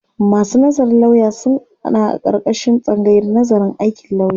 Masu nazarin lauya sun aƙarƙashin tsangayar nazarin aikin lauya.